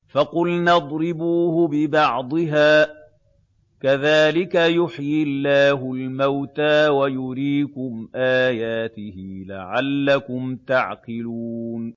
فَقُلْنَا اضْرِبُوهُ بِبَعْضِهَا ۚ كَذَٰلِكَ يُحْيِي اللَّهُ الْمَوْتَىٰ وَيُرِيكُمْ آيَاتِهِ لَعَلَّكُمْ تَعْقِلُونَ